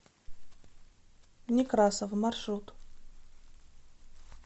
некрасов маршрут